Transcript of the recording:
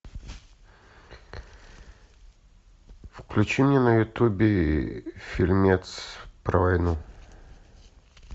включи мне на ютубе фильмец про войну